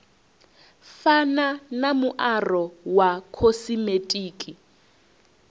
fana na muaro wa khosimetiki